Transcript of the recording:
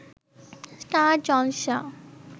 star Jalsha